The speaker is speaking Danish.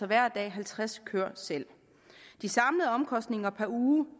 hver dag halvtreds køer selv de samlede omkostninger per uge